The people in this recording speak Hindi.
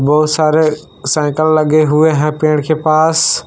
बहुत सारे साइकिल लगे हुए हैं पेड़ के पास।